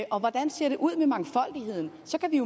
og hvordan ser det ud med mangfoldigheden så kan vi